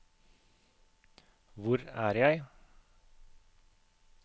hvor er jeg